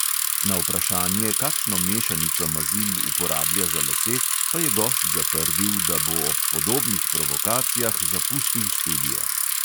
Na vprašanje, kakšno mešanico mazil uporablja za lase, pa je gost zatrdil, da bo ob podobnih provokacijah zapustil studio.